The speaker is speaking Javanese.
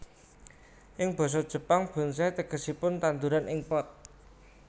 Ing basa Jepang bonsai tegesipun tandhuran ing pot